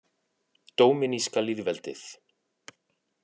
Dóminíska lýðveldið